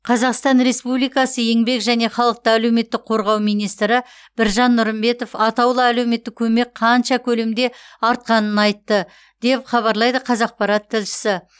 қазақстан республикасы еңбек және халықты әлеуметтік қорғау министрі біржан нұрымбетов атаулы әлеуметтік көмек қанша көлемде артқанын айтты деп хабарлайды қазақпарат тілшісі